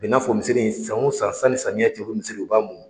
A bɛ n'a fɔ misiri in san o san sanni samiyɛn cɛ u bɛ misiri in u b'a mun.